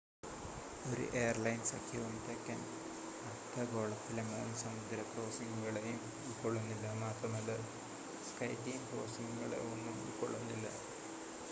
ഒരു എയർലൈൻ സഖ്യവും തെക്കൻ അർധഗോളത്തിലെ മൂന്ന് സമുദ്ര ക്രോസിംഗുകളെയും ഉൾക്കൊള്ളുന്നില്ല മാത്രമല്ല സ്കൈടീം ക്രോസിംഗുകളെ ഒന്നും ഉൾക്കൊള്ളുന്നില്ല